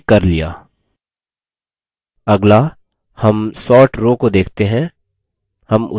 अगला हम sort row को देखते हैं